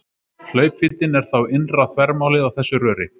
Hlaupvíddin er þá innra þvermálið á þessu röri.